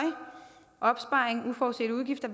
opsparing uforudsete udgifter